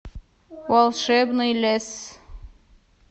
волшебный лес